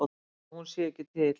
Að hún sé ekki til.